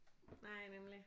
Nej nemlig